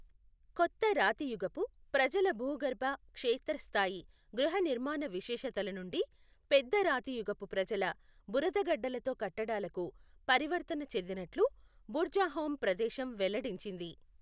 కొత్త రాతియుగపు ప్రజల భూగర్భ, క్షేత్ర స్థాయి గృహనిర్మాణ విశేషతల నుండి పెద్ద రాతియుగపు ప్రజల బురదగడ్డలతో కట్టడాలకు పరివర్తన చెందినట్లు బుర్జాహోం ప్రదేశం వెల్లడించింది.